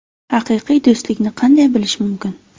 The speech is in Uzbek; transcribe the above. Haqiqiy do‘stlikni qanday bilish mumkin?.